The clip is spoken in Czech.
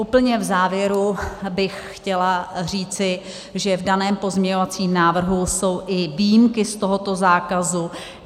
Úplně v závěru bych chtěla říci, že v daném pozměňovacím návrhu jsou i výjimky z tohoto zákazu.